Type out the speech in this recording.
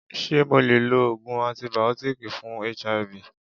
Ṣé mo le lo Ògùn antìbìótíkì fún HIV?